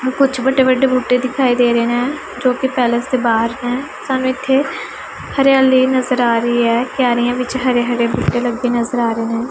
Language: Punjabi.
ਕੁੱਛ ਵੱਡੇ ਵੱਡੇ ਬੂਟੇ ਦਿਖਾਈ ਦੇ ਰਿਹੈਂ ਜੋਕੀ ਪੈਲੇਸ ਦੇ ਬਾਹਰ ਹੈਂ ਸਾਨੂੰ ਇੱਥੇ ਹਰਿਆਲੀ ਨਜ਼ਰ ਆ ਰਹੀ ਹੈ ਕਿਆਰੀਆਂ ਵਿੱਚ ਹਰੇ ਹਰੇ ਬੂਟੇ ਲੱਗੇ ਨਜ਼ਰ ਆ ਰਹੇਂ।